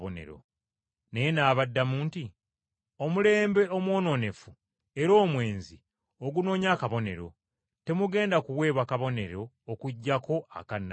Naye n’abaddamu nti, “Omulembe omwonoonefu era omwenzi ogunoonya akabonero; temugenda kuweebwa kabonero okuggyako aka nnabbi Yona.